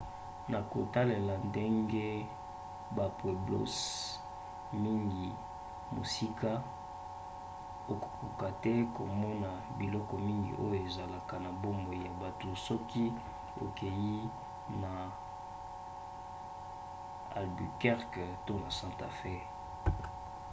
na kotalela ndenge bapueblos mingi eza mosika okokoka te komona biloko mingi oyo ezalaka na bomoi ya butu soki okei te na albuquerque to na santa fe